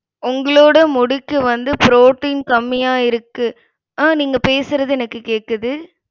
உங்களோட முடிக்கு வந்து protein கம்மியா இருக்கு. ஆஹ் நீங்க பேசுறது எனக்கு கேக்குது.